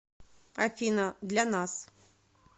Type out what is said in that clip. афина для нас